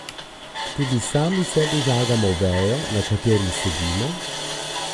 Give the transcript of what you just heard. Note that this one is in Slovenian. Tudi sami sebi žagamo vejo, na kateri sedimo?